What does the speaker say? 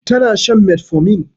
Tana shan metformin